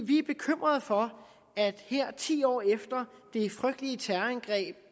vi er bekymrede for at vi her ti år efter de frygtelige terrorangreb